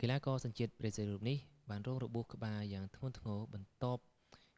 កីឡាករសញ្ជាតិប្រេស៊ីលរូបនេះ បានរងរបួសក្បាលយ៉ាងធ្ងន់ធ្ងរបន្ទាប់